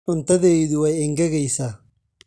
Cuntadaydu way engegaysaa.